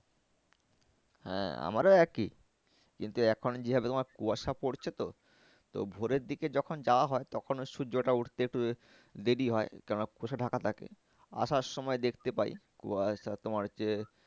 হ্যাঁ আমারও একই কিন্তু এখন যেভাবে তোমার কুয়াশা পড়ছে তো তো ভোরের দিকে যখন যাওয়া হয় তখনও সূর্যটা উঠতে একটু দেরি হয় কেন কুয়াশায় ঢাকা থাকে। আসার সময় দেখতে পাই। কুয়াশা তোমার হচ্ছে